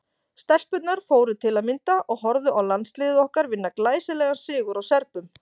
Stelpurnar fóru til að mynda og horfðu á landsliðið okkar vinna glæsilegan sigur á Serbum.